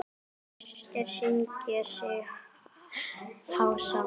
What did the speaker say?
Gestir syngja sig hása.